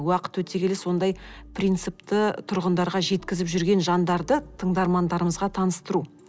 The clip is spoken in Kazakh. уақыт өте келе сондай принципті тұрғындарға жеткізіп жүрген жандарды тыңдармандарымызға таныстыру